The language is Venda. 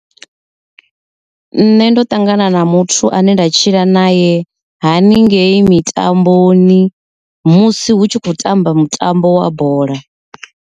Nṋe ndo ṱangana na muthu ane nda tshila naye haningei mitamboni musi hu tshi khou tamba mutambo wa bola.